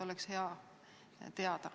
Oleks hea teada.